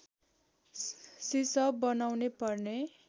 सिसप बनाउने पर्ने